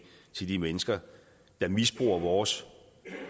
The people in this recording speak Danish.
til de mennesker der misbruger vores